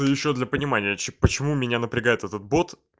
а ещё для понимания ч почему меня напрягает этот бот